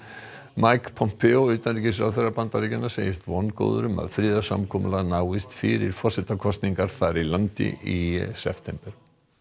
Pompeo utanríkisráðherra Bandaríkjanna segist vongóður um að friðarsamkomulag náist fyrir forsetakosningar þar í landi í september